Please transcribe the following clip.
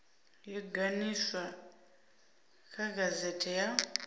yo ganiswa kha gazete ya